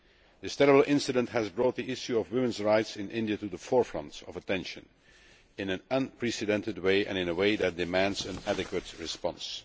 This terrible incident has brought the issue of women's rights in India to the forefront of attention in an unprecedented way and in a way that demands an adequate response.